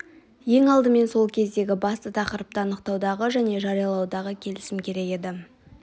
ең алдымен сол кездегі басты тақырыпты анықтаудағы және жариялаудағы келісім керек еді